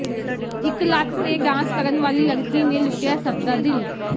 ਇੱਕ ਲੱਤ ਤੇ ਡਾਂਸ ਕਰਨ ਵਾਲੀ ਲੜਕੀ ਨੇ ਲੁੱਟਿਆ ਸਭ ਦਾ ਦਿਲ